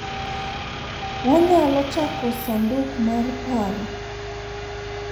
wanyalo chako sanduk mar paro